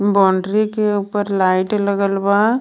Boundary के उपर light लगल बा.